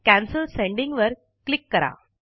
cancel sending वर click करा